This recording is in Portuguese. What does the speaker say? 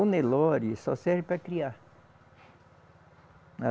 O Nelore só serve para criar.